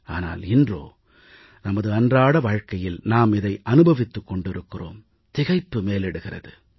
ஆனால் இன்றோ நமது அன்றாட வாழ்வில் நாம் இதை அனுபவித்துக் கொண்டிருக்கிறோம் திகைப்பு மேலிடுகிறது